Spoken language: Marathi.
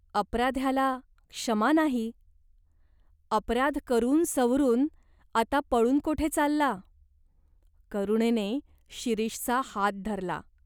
"अपराध्याला क्षमा नाही. अपराध करून सवरून आता पळून कोठे चालला ?" करुणेने शिरीषचा हात धरला.